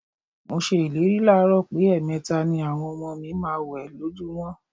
Mo s̩e ìlérí láàárò̩ pé è̩è̩me̩ta ni àwo̩n o̩mo̩ mi ma máa wè̩ lójúmó̩.